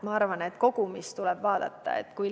Ma arvan, et tuleb vaadata kogumit.